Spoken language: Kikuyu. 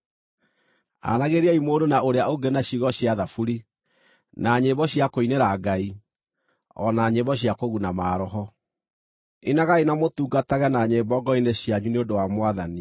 Aranagĩriai mũndũ na ũrĩa ũngĩ na ciugo cia thaburi, na nyĩmbo cia kũinĩra Ngai, o na nyĩmbo cia kũguna maroho. Inagai na mũtungage na nyĩmbo ngoro-inĩ cianyu nĩ ũndũ wa Mwathani,